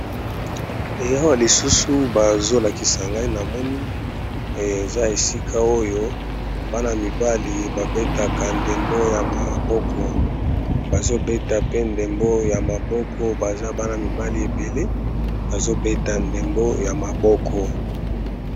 Awa lisusu bazolakisa ngai ezali bongo ba ndeko mibali bazali kobeta ndembo ya maboko